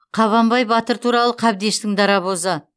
қабанбай батыр туралы қабдештің дарабозы